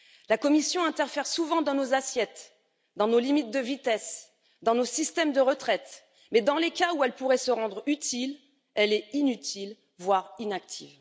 La Commission interfère souvent dans nos assiettes, dans nos limites de vitesse ou dans nos systèmes de retraite, mais dans les cas où elle pourrait se rendre utile elle est inutile, voire inactive.